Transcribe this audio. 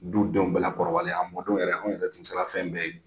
Du denw bɛɛ la kɔrɔbalen, a mɔdenw yɛrɛ anw yɛrɛ tun sera fɛn bɛɛ ye.